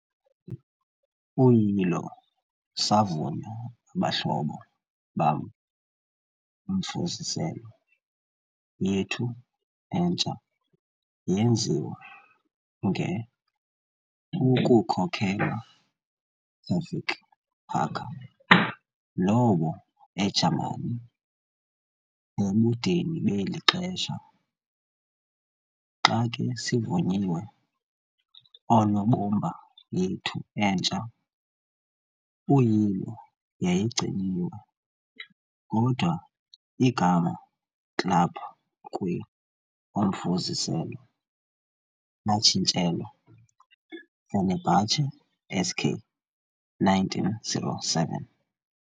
Uyilo savunywa abahlobo bam omfuziselo yethu entsha yenziwa nge ukukhokelwa Tevfik Haccar, lowo eJamani ebudeni beli xesha. Xa ke sivunyiwe oonobumba yethu entsha, uyilo yayigciniwe, kodwa igama club kwi omfuziselo latshintshelwa 'Fenerbahçe S.k. - 1907'.